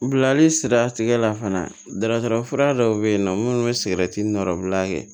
Bilali sira tigɛ la fana dasara fura dɔw bɛ yen nɔ minnu bɛ sigɛrɛti nɔra